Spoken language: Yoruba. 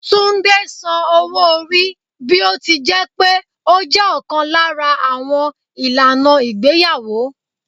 Túndé san owó-orí bí ó ti jẹ́ pé ó jẹ́ ọ̀kan lára àwọn ìlànà ìgbéyàwó.